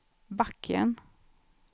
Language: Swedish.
backen